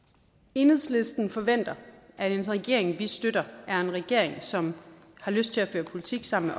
enhedslisten forventer at en regering vi støtter er en regering som har lyst til at føre politik sammen